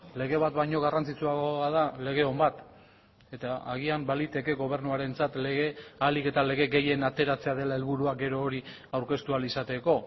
lege bat baino garrantzitsuagoa da lege on bat eta agian baliteke gobernuarentzat lege ahalik eta lege gehien ateratzea dela helburua gero hori aurkeztu ahal izateko